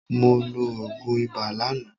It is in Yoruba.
Mo lo òògùn ibà lánàá.